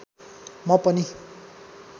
म पनि